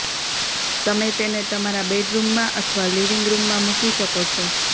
તમે તેને તમારા બેડરૂમમાં અથવા લિવિંગ રૂમમાં મૂકી શકો છો